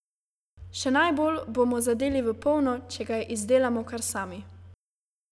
Še najbolj bomo zadeli v polno, če ga izdelamo kar sami.